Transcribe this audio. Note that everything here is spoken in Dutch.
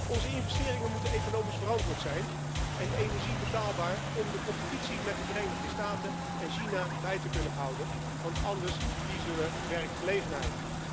Onze investeringen moeten economisch verantwoord zijn en energie moet betaalbaar zijn om de competitie met de Verenigde Staten en China bij te kunnen houden, want anders verliezen we werkgelegenheid.